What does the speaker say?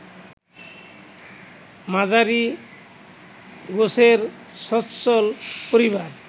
মাঝারি গোছের সচ্ছল পরিবার